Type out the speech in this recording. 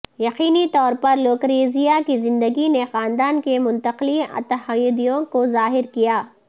یقینی طور پر لوکریزیا کی زندگی نے خاندان کے منتقلی اتحادیوں کو ظاہر کیا